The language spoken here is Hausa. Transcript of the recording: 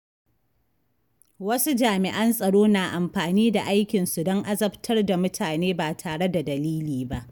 Wasu jami’an tsaro na amfani da aikinsu don azabtar da mutane ba tare da dalili ba.